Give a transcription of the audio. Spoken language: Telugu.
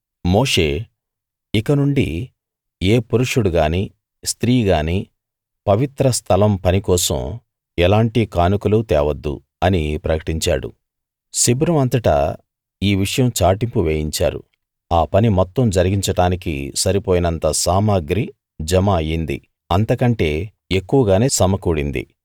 మోషే ఇక నుండి ఏ పురుషుడు గానీ స్త్రీ గానీ పవిత్ర స్థలం పని కోసం ఎలాంటి కానుకలూ తేవద్దు అని ప్రకటించాడు శిబిరం అంతటా ఈ విషయం చాటింపు వేయించారు ఆ పని మొత్తం జరిగించడానికి సరిపోయినంత సామగ్రి జమ అయింది అంతకంటే ఎక్కువగానే సమకూడింది